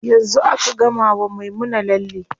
Yanzu aka gama wa Maimuna lalle.